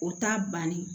O t'a banni